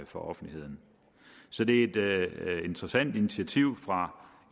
for offentligheden så det er et interessant initiativ fra